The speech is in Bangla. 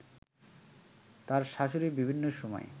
তার শাশুড়ি বিভিন্ন সময়